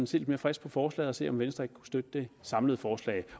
se lidt mere frisk på forslaget og se om venstre ikke kunne støtte det samlede forslag